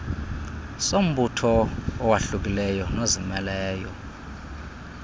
sombutho owahlukileyo nozimeleyo